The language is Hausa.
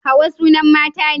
hauwa sunan mata ne